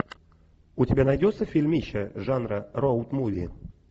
у тебя найдется фильмище жанра роуд муви